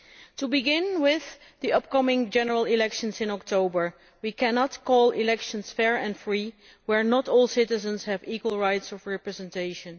To begin with the upcoming general elections in October, we cannot call elections fair and free where not all citizens have equal rights of representation.